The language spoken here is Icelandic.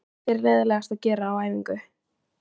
Hvað finnst þér leiðinlegast að gera á æfingu?